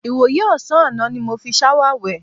Ìwòyí ò̩sán àná ni mo fi s̩áwà wè̩.